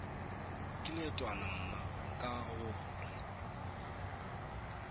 ke leetwana mma ka gore